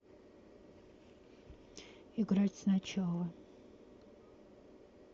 играть сначала